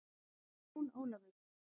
Jón Ólafur!